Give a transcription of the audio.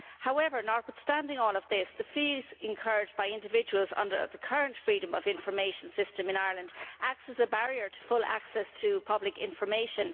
However, notwithstanding all of this, the fees incurred by individuals under the current freedom of information system in Ireland acts as a barrier to full access to pubic information.